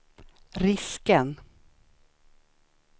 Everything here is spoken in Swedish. risken